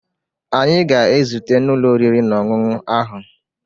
Anyị ga-ezute n'ụlọ oriri na ọṅụṅụ ahụ